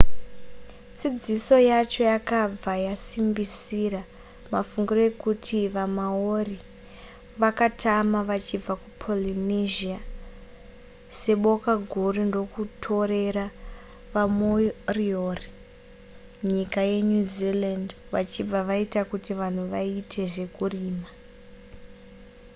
dzidziso yacho yakabva yasimbisira mafungiro ekuti vamaori vakatama vachibva kupolynesia seboka guru ndokutorera vamoriori nyika yenew zealand vachibva vaita kuti vanhu vaite zvekurima